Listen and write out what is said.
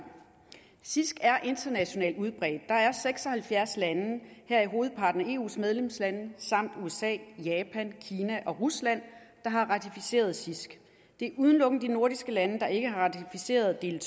cisg er internationalt udbredt der er seks og halvfjerds lande heraf hovedparten af eus medlemslande samt usa japan kina og rusland der har ratificeret cisg det er udelukkende de nordiske lande der ikke har ratificeret del